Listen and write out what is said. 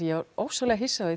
ég var ofsalega hissa á